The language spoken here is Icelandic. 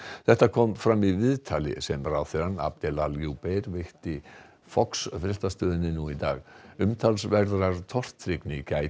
þetta kom fram í viðtali sem ráðherrann Adel al veitti Fox fréttastöðinni nú í dag umtalsverðrar tortryggni gætir